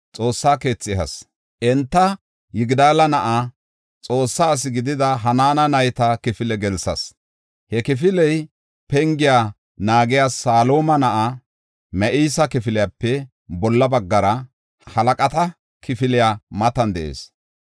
xoossa keethi ehas. Enta, Yigidaala na7aa, Xoossa asi gidida Hanaana nayta kifile gelsas. He kifiley, pengiya naagiya Saluma na7aa Ma7iseya kifiliyape bolla baggara, halaqata kifiliya matan de7ees.